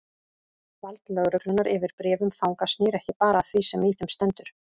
Vald lögreglunnar yfir bréfum fanga snýr ekki bara að því sem í þeim stendur.